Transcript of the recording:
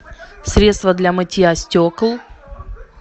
средство для мытья стекол